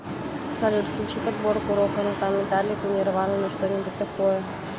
салют включи подборку рока ну там металлику нирвану ну что нибудь такое